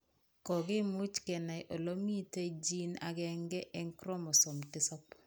Kokimuch kenai ole miten gene agenge eng' chromosome 7